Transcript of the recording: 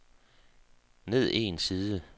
ned en side